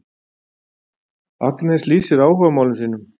Agnes lýsir áhugamálum sínum.